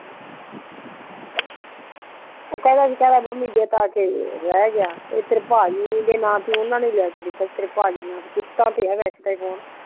ਓ ਕਹਿੰਦਾ ਸੀ ਮੰਮੀ ਜੇ ਜਦੋਂ ਤੱਕ ਇਹ ਰਿਹ ਗਿਆ ਤੇਰੇ ਪਾਜੀ ਦੇ ਨਾਮ ਤੇ ਓਨਾ ਨੂ ਹੀ ਲੈ ਕੇ ਦਿੱਤਾ ਸੀ ਆ ਫ਼ੋਨ ਕਿਸ਼ਤ ਤੇ ਹੈ ਵਾਈਸ ਤਾਂ ਏ ਫ਼ੋਨ